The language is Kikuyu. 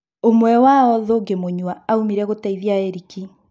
ũmwe wao, Thũngĩ Mũnyua, aumĩre gũteithia Erĩki.